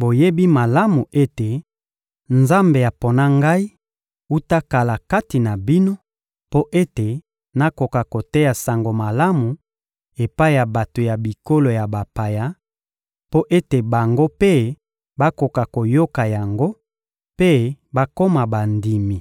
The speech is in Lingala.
boyebi malamu ete Nzambe apona ngai wuta kala kati na bino mpo ete nakoka koteya Sango Malamu epai ya bato ya bikolo ya bapaya, mpo ete bango mpe bakoka koyoka yango mpe bakoma bandimi.